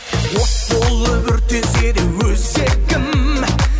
от болып өртенсе де өзегім